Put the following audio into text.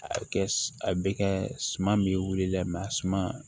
A bɛ kɛ a bɛ kɛ suman min wili dɛ a suma